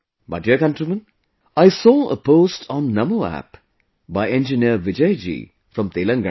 My dear countrymen, I saw a post on NaMoApp by engineer Vijay ji from Telangana